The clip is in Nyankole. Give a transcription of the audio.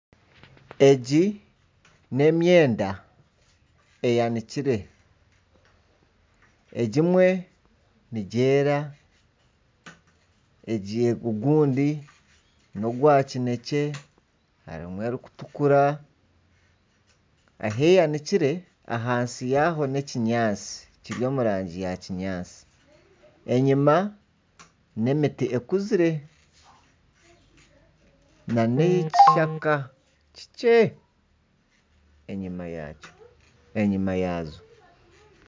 Egi n'emyenda eyanikire. Egimwe nigyeera, ogundi nogwa kinekye, harimu erikutukura. Ahi eyanikire ahansi yaaho n'ekinyaatsi kiri omu rangi ya kinyaatsi, enyima n'emiti ekuzire nana ekishaka kikye enyima yazo